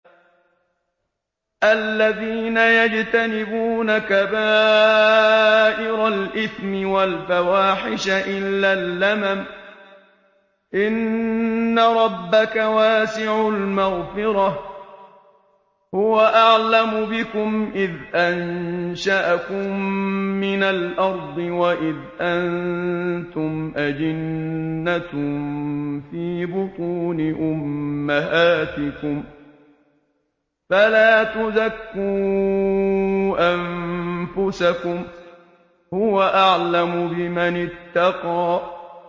الَّذِينَ يَجْتَنِبُونَ كَبَائِرَ الْإِثْمِ وَالْفَوَاحِشَ إِلَّا اللَّمَمَ ۚ إِنَّ رَبَّكَ وَاسِعُ الْمَغْفِرَةِ ۚ هُوَ أَعْلَمُ بِكُمْ إِذْ أَنشَأَكُم مِّنَ الْأَرْضِ وَإِذْ أَنتُمْ أَجِنَّةٌ فِي بُطُونِ أُمَّهَاتِكُمْ ۖ فَلَا تُزَكُّوا أَنفُسَكُمْ ۖ هُوَ أَعْلَمُ بِمَنِ اتَّقَىٰ